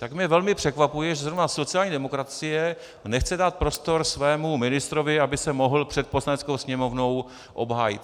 Tak mě velmi překvapuje, že zrovna sociální demokracie nechce dát prostor svému ministrovi, aby se mohl před Poslaneckou sněmovnou obhájit.